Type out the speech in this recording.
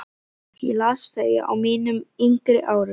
Ég las þau á mínum yngri árum.